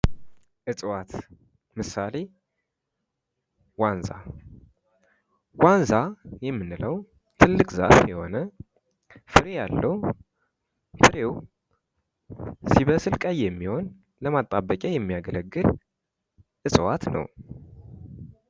እፅዋት ምሳሌ ዋንዛ ወንዛ የምንለው ትልቅ ዛፍ የሆነ ፍሬ ያለው ፍሬው ሲበስል ቀይ የሚሆን ለማጣበቂያ የሚያገለግል እፅዋት ነው።